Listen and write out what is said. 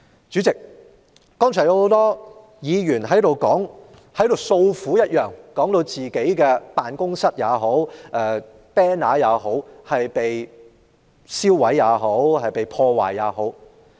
主席，剛才很多議員訴苦，說自己的辦事處或橫額被人燒毀或破壞。